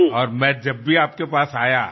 અને હું જ્યારે પણ આપની પાસે આવ્યો